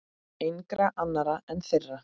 Engra annarra en þeirra.